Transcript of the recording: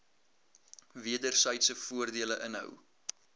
wedersydse voordele inhou